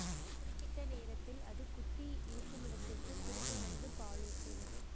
குறிப்பிட்ட நேரத்தில் அது குட்டி இருக்குமிடத்திற்குத் திரும்ப வந்து பாலூட்டும்